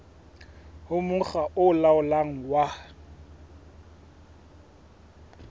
ho mokga o laolang wa